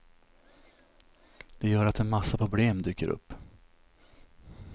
Det gör att en massa problem dyker upp.